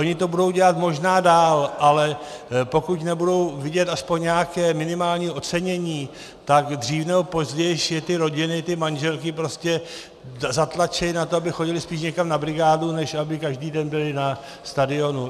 Oni to budou dělat možná dál, ale pokud nebudou vidět aspoň nějaké minimální ocenění, tak dřív nebo později je ty rodiny, ty manželky prostě zatlačí na to, aby chodili spíš někam na brigádu, než aby každý den byli na stadionu.